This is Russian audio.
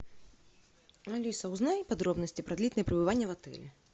алиса узнай подробности про длительное пребывание в отеле